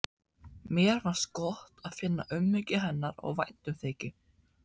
Mér fannst gott að finna umhyggju hennar og væntumþykju.